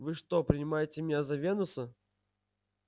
вы что принимаете меня за венуса